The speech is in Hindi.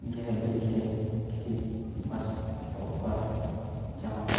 यह दृश्य किसी बस स्टॉप का है जहां पर --